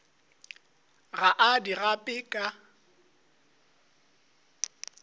ga a di gape ka